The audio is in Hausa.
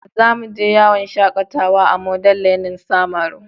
Za mu je yawon shakatawa a Model learning samaru.